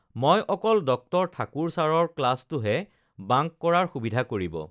ম‍ই অকল ডঃ ঠাকুৰ চাৰৰ ক্লাচটোহে বাঙ্ক কৰাৰ সুবিধা কৰিব